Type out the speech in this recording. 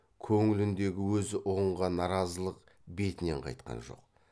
көңіліндегі өзі ұғынған наразылық бетінен қайтқан жоқ